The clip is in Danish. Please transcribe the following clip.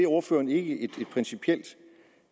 ordføreren ikke et principielt